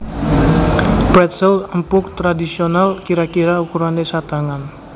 Pretzel empuk tradhisional kira kira ukurané satangan